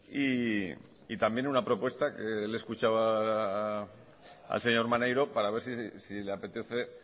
y también una propuesta que le he escuchado al señor maneiro para ver si le apetece